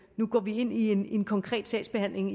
nu går ind i en en konkret sagsbehandling